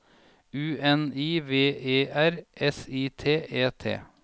U N I V E R S I T E T